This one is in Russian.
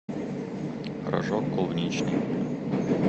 рожок клубничный